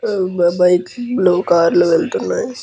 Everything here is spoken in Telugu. ఉమ్మ్ బ బైక్స్ బ్లూ కార్ లు వెళ్తున్నాయి.